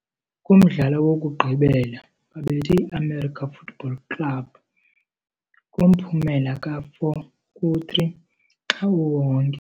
Kumdlalo wokugqibela, babethe i-América Futebol Clube, MG, América Mineiro, kumphumela ka-4−3 xa uwonke.